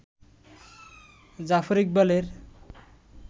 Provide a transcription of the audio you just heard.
জাফর ইকবালের